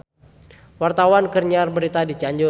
Wartawan keur nyiar berita di Cianjur